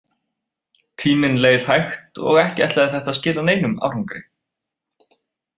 Tíminn leið hægt og ekki ætlaði þetta að skila neinum árangri.